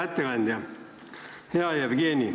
Hea ettekandja, hea Jevgeni!